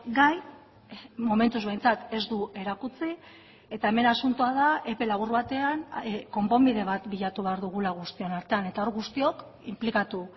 gai momentuz behintzat ez du erakutsi eta hemen asuntoa da epe labur batean konponbide bat bilatu behar dugula guztion artean eta hor guztiok inplikatu